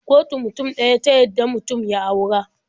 Kotu mutum ɗaya ta yadda mutum ya aura.